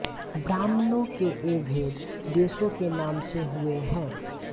ब्राह्मणों के ये भेद देशों के नाम से हुए हैं